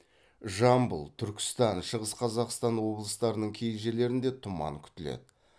жамбыл түркістан шығыс қазақстан облыстарының кей жерлерінде тұман күтіледі